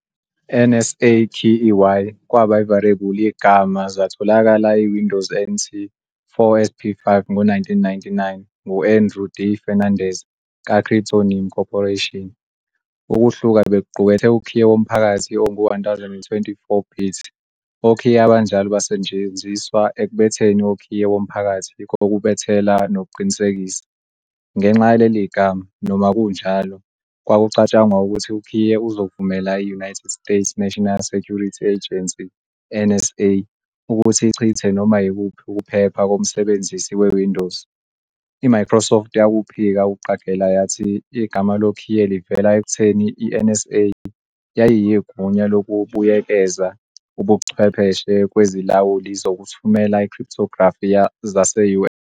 NSAKEY kwaba variable igama zatholakala e Windows NT 4 SP5 ngo-1999 ngu-Andrew D. Fernandes ka Cryptonym Corporation. Ukuhluka bekuqukethe ukhiye womphakathi ongu-1024-bit, okhiye abanjalo basetshenziswa ekubetheni okhiye womphakathi kokubethela nokuqinisekisa. Ngenxa yaleli gama, noma kunjalo, kwakucatshangwa ukuthi ukhiye uzovumela i-United States National Security Agency, NSA, ukuthi ichithe noma yikuphi ukuphepha komsebenzisi weWindows. IMicrosoft yakuphika ukuqagela yathi igama lokhiye livela ekutheni i-NSA yayiyigunya lokubuyekeza ubuchwepheshe kwezilawuli zokuthumela i-cryptography zase-US.